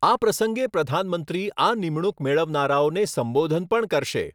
આ પ્રસંગે પ્રધાનમંત્રી આ નિમણુંક મેળવનારાઓને સંબોધન પણ કરશે.